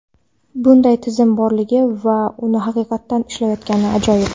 Bunday tizim borligi va u haqiqatdan ishlayotgani ajoyib!